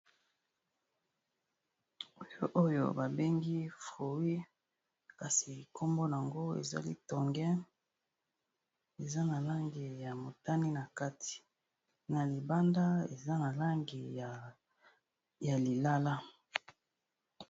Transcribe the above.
Oyo ba bengi frooy kasi kombo nango ezali tongen eza na langi ya motani, na kati na libanda eza na langi ya lilala.